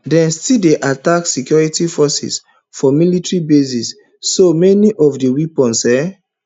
dem still dey attack security forces for military bases so many of di weapons um